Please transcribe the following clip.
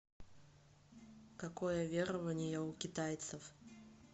какое верование у китайцев